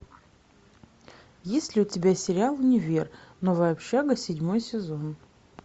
есть ли у тебя сериал универ новая общага седьмой сезон